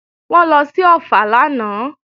Wọ́n lọ sí Ọ̀ffà lánàá